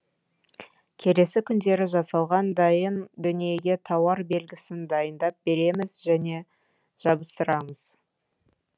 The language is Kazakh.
келесі күндері жасалған дайын дүниеге тауар белгісін дайындап береміз және жабыстырамыз